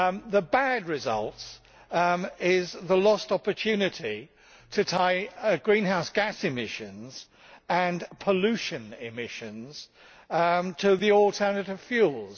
The bad result is the lost opportunity to tie greenhouse gas emissions and pollution emissions to the alternative fuels.